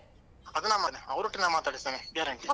ಅದು ನಮ್ಮನೆ ಅವರೊಟ್ಟಿಗೆ ನಾನ್ ಮಾತಾಡಿಸ್ತೇನೆ guarantee .